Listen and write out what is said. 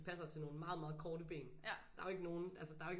Passer til nogen meget meget korte ben der er jo ikke nogen altså der er jo ikke